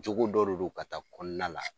Jogo dɔ de do ka taa kɔnɔna la.